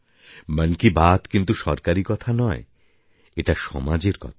মন কি বাত কিন্তু সরকারি কথা নয় এটা সমাজের কথা